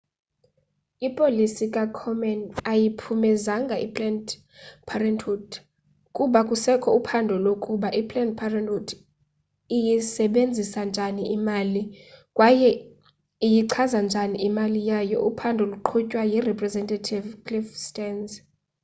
ipolisi kakomen ayiyiphumezanga iplanned parenthood kuba kusekho uphando lokuba i planned parenthood iyisebenzisa njani imali kwaye iyichaza njani imali yayo uphando luqhutywa yirepresentative cliff stearns